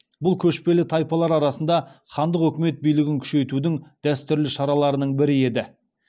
бұл көшпелі тайпалар арасында хандық өкімет билігін күшейтудің дәстүрлі шараларының бірі еді